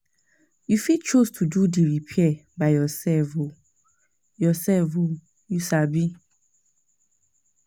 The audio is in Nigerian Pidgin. You fit choose to do di repair by yourself oi yourself oi you sabi